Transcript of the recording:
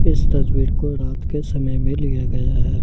इस तस्वीर को रात के समय में लिया गया है।